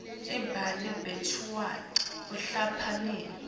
babhali betincwadzi bahlakaniphile